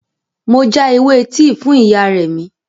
Mo já ewé tíì fún ìyá Remi